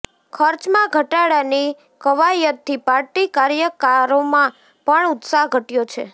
ખર્ચમાં ઘટાડાની કવાયતથી પાર્ટી કાર્યકરોમાં પણ ઉત્સાહ ઘટ્યો છે